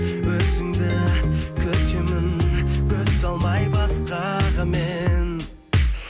өзіңді күтемін көз салмай басқаға мен